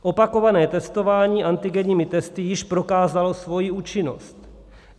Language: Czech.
Opakované testování antigenními testy již prokázalo svoji účinnost.